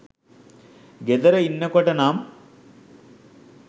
ගෙදර ඉන්නකොට නම්